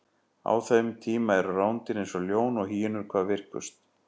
á þeim tíma eru rándýr eins og ljón og hýenur hvað virkust